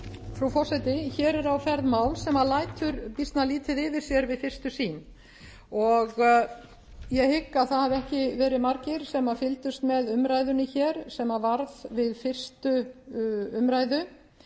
frú forseti hér er á ferð mál sem lætur býsna lítið yfir sér við fyrstu sýn og ég hygg að það hafi ekki margir sem fylgdust með umræðunni hér sem varð við fyrstu umræðu